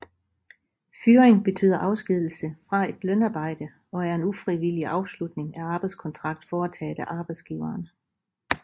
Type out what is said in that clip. Fyring betyder afskedigelse fra et lønarbejde og er en ufrivillig afslutning af arbejdskontrakt foretaget af arbejdsgiveren